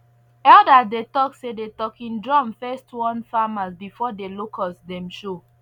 elders dey talk say the talking drum first warn farmers before the locust dem show